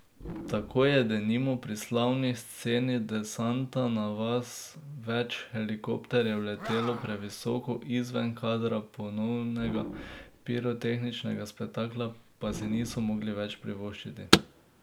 Tako je denimo pri slavni sceni desanta na vas več helikopterjev letelo previsoko, izven kadra, ponovnega pirotehničnega spektakla pa si niso mogli več privoščiti.